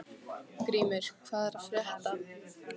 Grímur, hvað er að frétta?